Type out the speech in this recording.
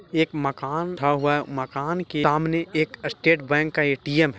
एक माकन ठा हुआ है मकान के तामने एक स्टेट बैंक का ए_टी_एम्--